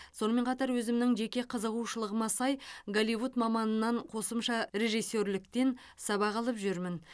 сонымен қатар өзімнің жеке қызығушылығыма сай голливуд маманынан қосымша режиссерліктен сабақ алып жүрмін